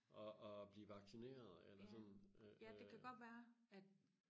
og og blive vaccineret eller sådan øh øh